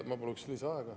Ma paluksin lisaaega.